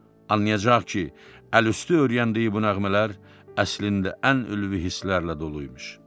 Anlayacaq ki, əlüstü öyrəndiyi bu nəğmələr əslində ən ülvi hisslərlə dolu imiş.